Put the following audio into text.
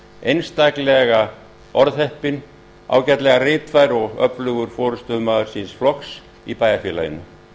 einstaklega orðheppinn ágætlega ritfær og öflugur forustumaður síns flokks í bæjarfélaginu